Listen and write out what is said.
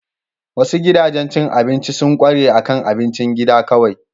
Wasu gidajen cin abinci sun ƙware akan abincin gida kawai.